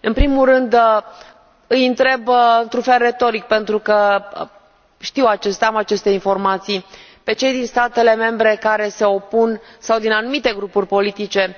În primul rând, îi întreb retoric, pentru că am deja aceste informații, pe cei din statele membre sau din anumite grupuri politice